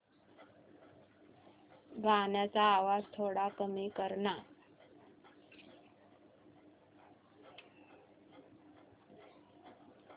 गाण्याचा आवाज थोडा कमी कर ना